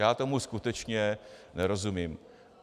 Já tomu skutečně nerozumím.